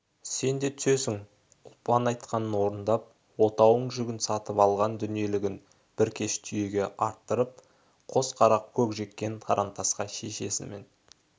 сен де түсесің ұлпан айтқанын орындап отауың жүгің сатып алған дүниелігін бір кеш түйеге арттырып қос қара көк жеккен тарантасқа шешесімен